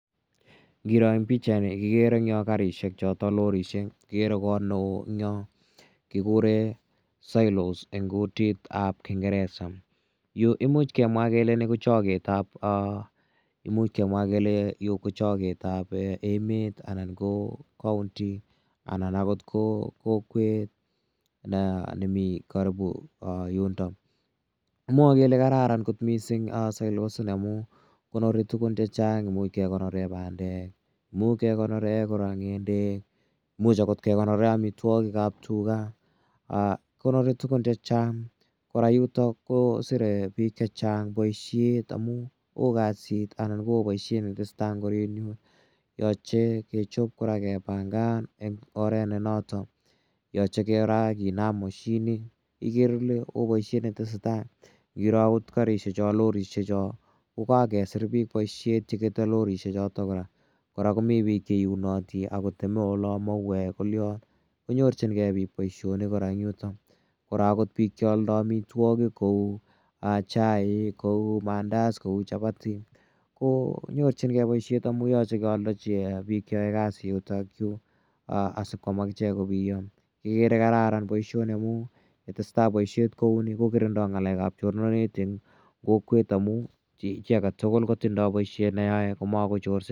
Ngiro en pichaini kikere eng' yo karishek chotok lorishek, kikere kor ne oo eng' yo ne kikure silos eng' kutit ap kingeresa. Yu imuch kemwa kele ni ko chaket ap emet anan ko kaunti anan akot ko kokwet ne mi karipu yundok. Kimwae kele kararan kot silos ini amun konori tugun che chang', imuch kekonore pandek i, imuch kekonore kora ng'endek, imuch agor kekonore amitwogik ap tuga, konori tugun che chang'. Kora yutok ko sire piik che chang' poishet amun oo kasit anan ko oo poishet ne tese tai en orit yu. Yache ke chop kora kepangan en oret ne notok. Yache kora kinam mosinit ikere ile oo poishet ne tese tai. Ngiro akot karishecho, lorishecho ko kakesir piik poishet che kete lorishechot kora. Kora komi piik che iunati ola ako teme mauek kolian, konyorchingei pik poishonik kora en yutok. Kora agot piik cha aldai amitwogik kou chaik, kou mandas, kou chapati konyorchingei poishet amun yache kealdachi pik che yae kasi yutayu asikoam akichek kopiyang'sa ikere ile kararan poishoni ye tese tai poishet kou ni kokirindai ng'alek ap chornandit en kokwet amu chi age tugul kotindai poishet ne yae ko makochorsei.